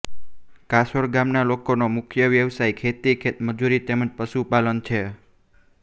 કાસોર ગામના લોકોનો મુખ્ય વ્યવસાય ખેતી ખેતમજૂરી તેમ જ પશુપાલન છે